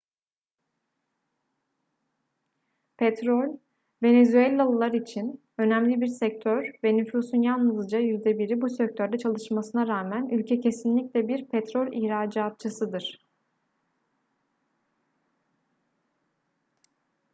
petrol venezuelalılar için önemli bir sektör ve nüfusun yalnızca yüzde biri bu sektörde çalışmasına rağmen ülke kesinlikle bir petrol ihracatçısıdır